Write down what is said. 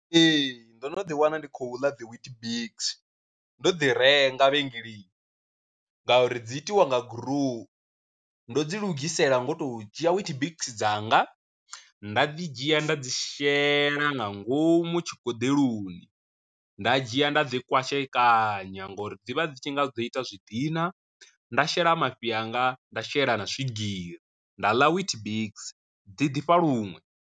Ee, ndo no ḓi wana ndi khou ḽa dzi wheat biks ndo ḓi renga vhengeleni ngauri dzi itiwa nga gurowu, ndo dzi lugisela ngo to dzhia wheat biks dzanga, nda dzi dzhia nda dzi shela nga ngomu tshigoḓeloni, nda dzhia nda ḓi kwashekanya ngori dzivha dzi tshi nga dzo ita zwi dina, nda shela mafhi anga nda shela na swigiri nda ḽa wheat biks dzi ḓifha luṅwe.